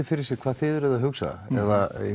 fyrir sér hvað þið eruð að hugsa nú